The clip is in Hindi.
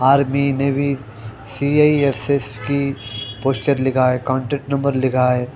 आर्मी नेवी सी_आई_एस_एस की पोस्टर लिखा है कांटेक्ट नंबर लिखा है।